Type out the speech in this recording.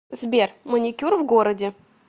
сбер маникюр в городе